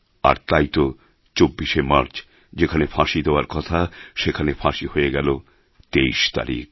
আর তাই তো ২৪শে মার্চ যেখানে ফাঁসী দেওয়ার কথা সেখানে ফাঁসি হয়ে গেল ২৩ তারিখ